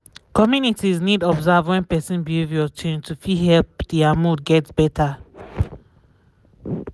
communities need observe wen person behavior change to fit help dia mood get better